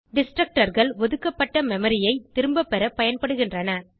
Destructorகள் ஒதுக்கப்பட்ட memoryஐ திரும்பபெற பயன்படுகின்றன